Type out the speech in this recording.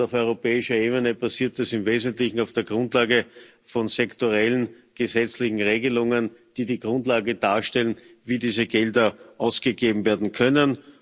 Und auf europäischer Ebene passiert das im Wesentlichen auf der Grundlage von sektorellen gesetzlichen Regelungen, die die Grundlage darstellen, wie diese Gelder ausgegeben werden können.